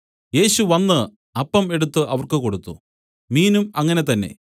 യേശു വന്നു അപ്പം എടുത്തു അവർക്ക് കൊടുത്തു മീനും അങ്ങനെ തന്നെ